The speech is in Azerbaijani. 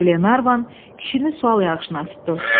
Glenarvan kişini sual yağışına tutdu.